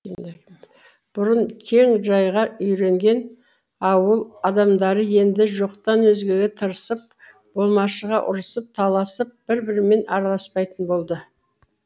бұрын кең жайға үйренген ауыл адамдары енді жоқтан өзгеге тырысып болмашыға ұрысып таласып бір бірімен араласпайтын болды